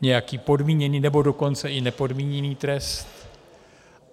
nějaký podmíněný, nebo dokonce i nepodmíněný trest.